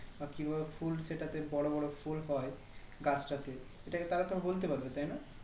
বা কি ভাবে ফুল সেটাতে বড়ো বড়ো ফুল হয় গাছটাতে এটা তো তারা তো বলতে পারবে তাই না